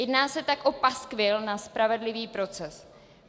Jedná se tak o paskvil na spravedlivý proces.